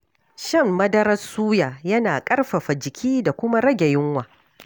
Shan madarar suya yana ƙarfafa jiki da kuma rage yunwa.